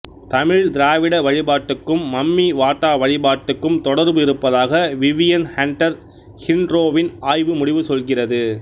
தமிழ்த் திராவிட வழிபாட்டுக்கும் மம்மி வாட்டா வழிபாட்டுக்கும் தொடர்பு இருப்பதாக விவியன் ஹண்டர் ஹிண்ரோவின் ஆய்வு முடிவு சொல்கிறது